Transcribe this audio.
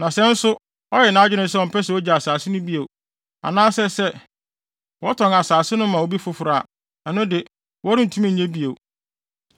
Na sɛ nso ɔyɛ nʼadwene sɛ ɔmpɛ sɛ ogye asase no bio, anaasɛ sɛ watɔn asase no ama obi foforo a, ɛno de, wɔrentumi nnye bio.